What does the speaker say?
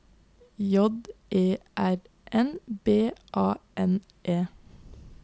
J E R N B A N E